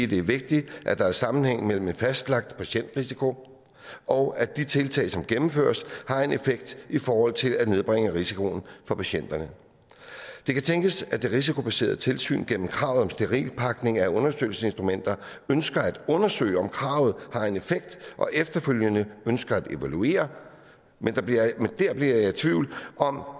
det er vigtigt at der er sammenhæng mellem en fastlagt patientrisiko og at de tiltag som gennemføres har en effekt i forhold til at nedbringe risikoen for patienterne det kan tænkes at det risikobaserede tilsyn gennem kravet om sterilpakning af undersøgelssinstrumenter ønsker at undersøge om kravet har en effekt og efterfølgende ønsker at evaluere men der bliver jeg tvivl om